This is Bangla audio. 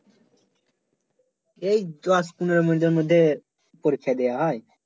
এই দশ পনেরো মিনিট মধ্যে পরীক্ষা দেওয়া হয়